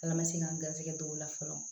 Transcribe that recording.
K' ala ma se k'an garisɛgɛ don o la fɔlɔ